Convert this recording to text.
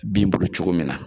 Bin bolo cogo min na